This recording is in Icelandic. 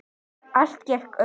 Allt gekk upp.